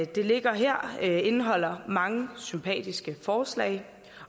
det ligger her indeholder mange sympatiske forslag